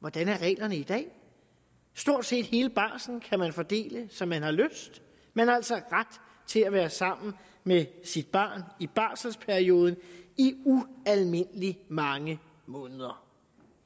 hvordan er reglerne i dag stort set hele barslen kan man fordele som man har lyst man har altså ret til at være sammen med sit barn i barselperioden i ualmindelig mange måneder